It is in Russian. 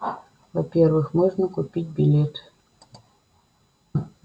во-первых можно купить билеты